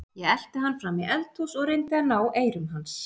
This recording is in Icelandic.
Ég elti hann fram í eldhús og reyndi að ná eyrum hans.